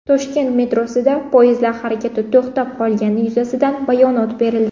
Toshkent metrosida poyezdlar harakati to‘xtab qolgani yuzasidan bayonot berildi.